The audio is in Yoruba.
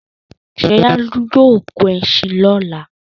Ṣọlá yóò gun ẹṣin lọ́la.